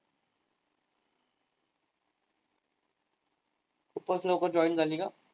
खूपच लोक join झाली का?